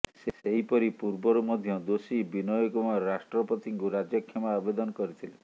ସେହିପରି ପୂର୍ବରୁ ମଧ୍ୟ ଦୋଷୀ ବିନୟ କୁମାର ରାଷ୍ଟ୍ରପତିଙ୍କୁ ରାଜକ୍ଷମା ଆବେଦନ କରିଥିଲେ